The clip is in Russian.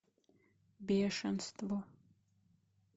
бешенство